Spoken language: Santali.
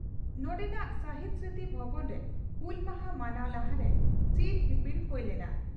ᱱᱚᱰᱮᱱᱟᱜ ᱥᱟᱦᱤᱫᱽ ᱥᱢᱨᱩᱛᱤ ᱵᱷᱚᱵᱚᱱᱨᱮ ᱦᱩᱞ ᱢᱟᱦᱟᱸ ᱢᱟᱱᱟᱣ ᱞᱟᱦᱟᱨᱮ ᱪᱤᱨ ᱦᱤᱯᱤᱲ ᱦᱩᱭ ᱞᱮᱱᱟ ᱾